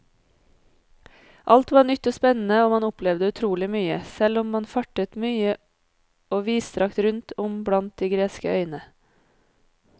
Alt var nytt og spennende og man opplevde utrolig mye, selv om man fartet mye og vidstrakt rundt om blant de greske øyene.